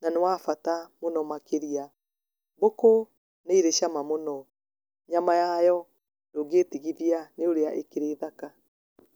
na nĩ wa bata mũno makĩrĩa mbũkũ nĩ ĩrĩ cama mũno nyama yayo ndũngĩtĩgĩthĩa nĩ ũrĩa ĩkĩrĩ thaka.